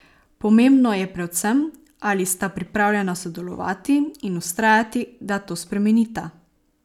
Pomembno je predvsem, ali sta pripravljena sodelovati in vztrajati, da to spremenita.